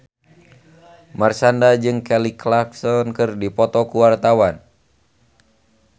Marshanda jeung Kelly Clarkson keur dipoto ku wartawan